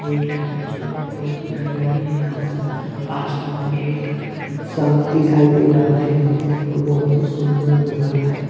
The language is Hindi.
-- हिल टाइप कुछ बहुत हरियाली है यहाँ पे आसमान भी एकदम साफ़ दिखयी दे रहा है बहुत ही सूंदर सुन्दर नजारा है।